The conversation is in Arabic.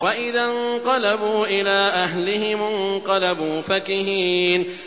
وَإِذَا انقَلَبُوا إِلَىٰ أَهْلِهِمُ انقَلَبُوا فَكِهِينَ